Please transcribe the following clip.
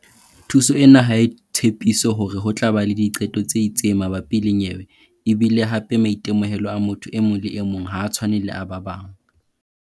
Thuso ena ha e tshepiso hore ho tla ba le diqeto tse itseng mabapi le nyewe e bile hape maitemohelo a motho e mong le e mong ha a tshwane le a ba bang.